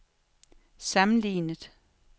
sammenlignet